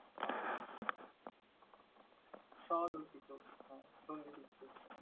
আচ্ছা! স্ব-রচিত। হ্যাঁ সন্ধিবিচ্ছেদ।